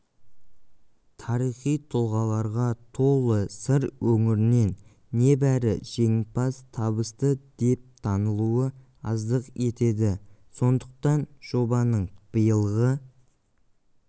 тарихи тұлғаларға толы сыр өңірінен небәрі жеңімпаз табысты деп танылуы аздық етеді сондықтан жобаның быилғы